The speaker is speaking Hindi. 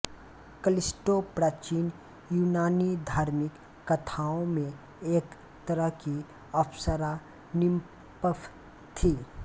कलिस्टो प्राचीन यूनानी धार्मिक कथाओं में एक तरह की अप्सरा निम्प्फ़ थी